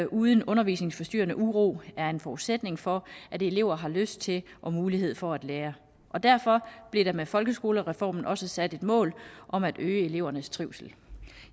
uden undervisningsforstyrrende uro er en forudsætning for at elever har lyst til og mulighed for at lære derfor blev der med folkeskolereformen også sat et mål om at øge elevernes trivsel